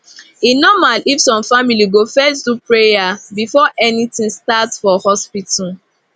e normal if some family go first do prayer before anything start for hospital